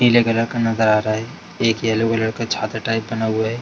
पीले कलर का नजर आ रहा है एक येल्लो कलर का छाता टाइप बना हुआ है।